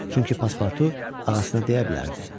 Çünki Paspartu ağasına deyə bilərdi.